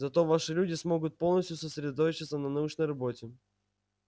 зато ваши люди смогут полностью сосредоточиться на научной работе